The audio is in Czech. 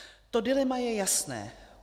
To dilema je jasné.